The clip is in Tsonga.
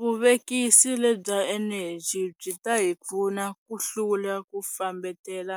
Vuvekisi lebya eneji byi ta hi pfuna ku hlula ku fambetela